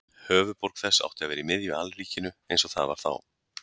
Höfuðborg þess átti að vera í miðju alríkinu eins og það var þá.